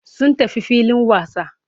Sun tafi filin wasa.